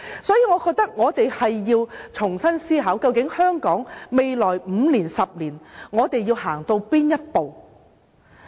所以，我覺得我們要重新思考，究竟我們想香港在未來5年、10年走到哪一步？